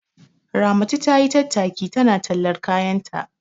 Ramatu tayi tattaki tana tallar kayanta.